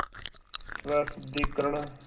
स्वशुद्धिकरण